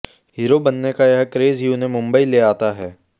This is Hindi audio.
हीरो बनने का यह क्रेज ही उन्हें मुंबई ले आता है